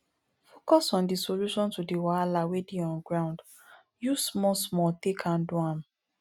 focus on di solution to the wahala wey dey on ground use small small take handle am